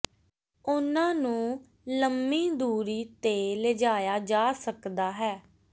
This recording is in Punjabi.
ਉਹਨਾਂ ਨੂੰ ਲੰਮੀ ਦੂਰੀ ਤੇ ਲਿਜਾਇਆ ਜਾ ਸਕਦਾ ਹੈ